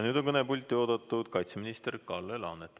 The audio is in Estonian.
Nüüd on kõnepulti oodatud kaitseminister Kalle Laanet.